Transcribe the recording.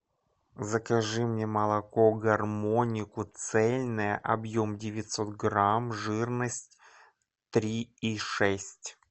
закажи мне молоку гармонику цельное объем девятьсот грамм жирность три и шесть